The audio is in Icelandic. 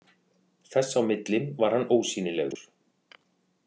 Þess á milli var hann ósýnilegur.